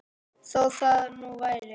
Þó það nú væri.